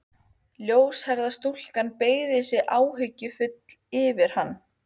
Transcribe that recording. Ljóshærða stúlkan beygði sig áhyggjufull yfir hann.